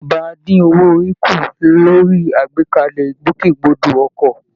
Ìjọba á dín owó orí kù lórí àgbékalẹ̀ ìgbòkègbodò ọkọ̀